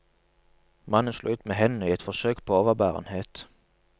Mannen slo ut med hendene i et forsøk på overbærenhet.